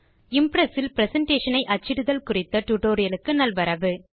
Impress ல் presentation ஐ அச்சிடுதல் குறித்த டியூட்டோரியல் க்கு நல்வரவு